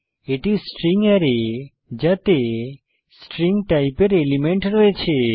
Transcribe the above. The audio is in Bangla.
এটি স্ট্রিং অ্যারে যাতে স্ট্রিং টাইপের এলিমেন্ট রয়েছে